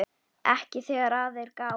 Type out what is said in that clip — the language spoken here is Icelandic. Ekki þegar að er gáð.